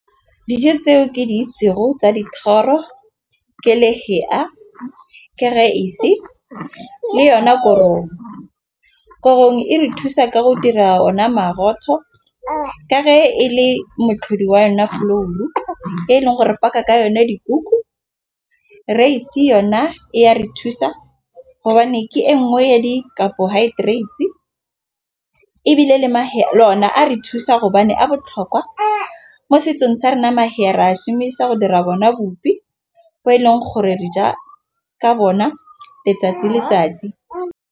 Dijo tseo ke tsa dithoro ke lehea, ke raese le yona korong. Korong gore gongwe e re thusa ka go dira ona moroto a ka re e le moatlhodi wa yona flour e leng gore baka ka yone dikuku. Raise yona e ya re thusa gobane ke e nngwe ya di-carbohydrates, ebile mahea a re thusa a botlhokwa mo setsong sa re nama ha re a šhumisa go dira bona bupi bo e leng gore re ja ka bona letsatsi le letsatsi.